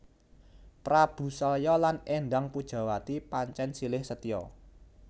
Prabu Salya lan Endang Pujawati pancèn silih setya